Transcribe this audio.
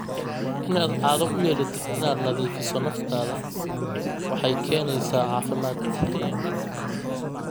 Inaad caado u yeelatid inaad nadiifiso naftaada waxay keenaysaa caafimaad.